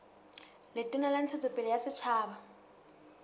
letona la ntshetsopele ya setjhaba